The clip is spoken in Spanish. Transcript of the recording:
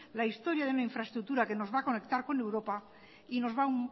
la historia de una infraestructura que nos va a conectar con europa y nos va a